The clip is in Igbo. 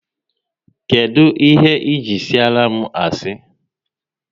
Kedụ ihe ji siara m asị?